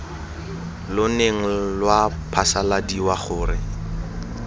lo neng lwa phasaladiwa gore